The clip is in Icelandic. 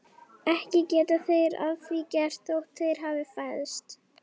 Ekki geta þeir að því gert þótt þeir hafi fæðst.